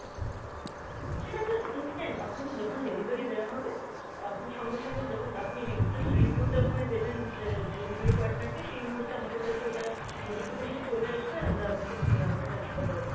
সেটা আপনার instant, আপনাকে যখন delivery দেওয়া হবে আপনি সঙ্গে সঙ্গে যখন আপনি রি~ just review টা ওখানে দেবেন যে delivery partner কে সেই মুহূর্তে আমাদের কাছে ওটা notification চলে আসবে আর আমরা আপনাকে আহ ওটা transfer করে দেবো।